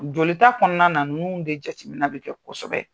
Joli ta kɔnɔna na nunnu de jatiminɛ bi kɛ kosɛbɛ.